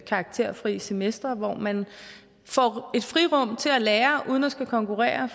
karakterfri semestre hvor man får et frirum til at lære uden at skulle konkurrere